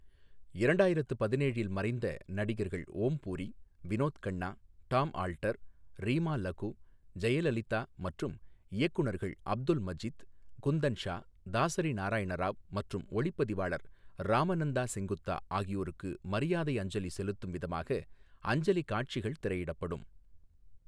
இரண்டாயிரத்து பதினேழில், மறைந்த நடிகர்கள் ஓம் பூரி, விநோத் கண்ணா, டாம் ஆல்டர், ரீமா லகு, ஜெயலலிதா மற்றும் இயக்குநர்கள் அப்துல் மஜித், குந்தன் ஷா, தசாரி நாரயண ராவ் மற்றும் ஒளிப்பதிவாளர் ராமநந்தா செங்குத்தா ஆகியோருக்கு மரியாதை அஞ்சலி செலுத்தும் விதமாக அஞ்சலி காட்சிகள் திரையிடப்படும்.